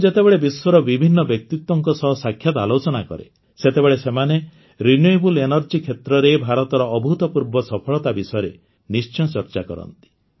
ମୁଁ ଯେତେବେଳେ ବିଶ୍ୱର ବିଭିନ୍ନ ବ୍ୟକ୍ତିତ୍ୱଙ୍କ ସହ ସାକ୍ଷାତ ଆଲୋଚନା କରେ ସେତେବେଳେ ସେମାନେ ରିନ୍ୟୁଏବଲ୍ ଏଞ୍ଜର୍ଜି କ୍ଷେତ୍ରରେ ଭାରତର ଅଭୂତପୂର୍ବ ସଫଳତା ବିଷୟରେ ନିଶ୍ଚୟ ଚର୍ଚ୍ଚା କରନ୍ତି